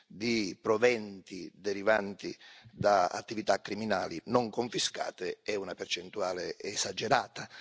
di proventi derivanti da attività criminali non confiscate è una percentuale esagerata.